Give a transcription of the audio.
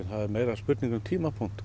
er meira spurning um tímapunktinn